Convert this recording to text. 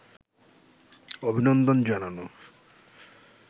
অভিনন্দন জানানো